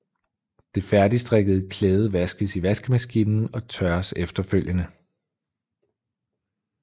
Det færdigstrikkede klæde vaskes i vaskemaskinen og tørres efterfølgende